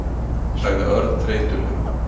sagði Örn þreytulega.